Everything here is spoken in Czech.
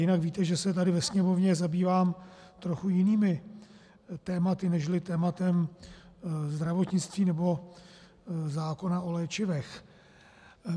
Jinak víte, že se tady ve Sněmovně zabývám trochu jinými tématy nežli tématem zdravotnictví nebo zákona o léčivech.